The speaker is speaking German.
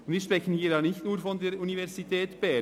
Wir sprechen hier nicht nur von der Universität Bern.